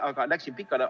Aga läksin pikale.